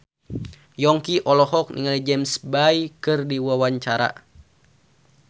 Yongki olohok ningali James Bay keur diwawancara